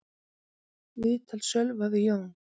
Viðtal Sölva við Jón